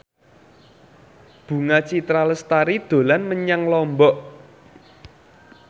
Bunga Citra Lestari dolan menyang Lombok